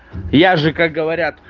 я же как говорят